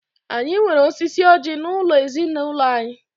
Anyi nwere osisi ọjí n'ulo ezinulo anyi.